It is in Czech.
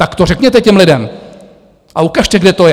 Tak to řekněte těm lidem a ukažte, kde to je.